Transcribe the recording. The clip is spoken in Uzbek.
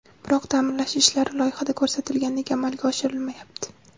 Biroq ta’mirlash ishlari loyihada ko‘rsatilgandek amalga oshirilmayapti.